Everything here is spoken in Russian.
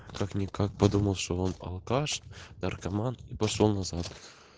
как-никак подумал что он алкаш и наркоман и пошёл назад